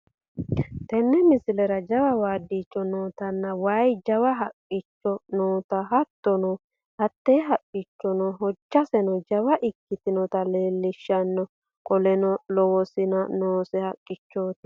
Teene miislera jaawa waadicho nootana weyi jawaa hakichoo noota hattono hatti haakichono hoojasenno jawaa ekkitnota lelshanno kooleno loowo siina noose haakichoti.